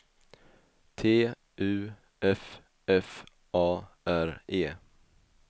T U F F A R E